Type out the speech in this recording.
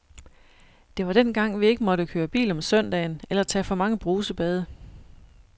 Det var dengang, vi ikke måtte køre bil om søndagen eller tage for mange brusebade.